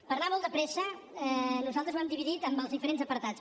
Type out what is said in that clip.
per anar molt de pressa nosaltres ho hem dividit en els diferents apartats